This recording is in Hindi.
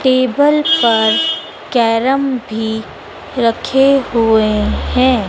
टेबल पर कैरम भी रखे हुए हैं।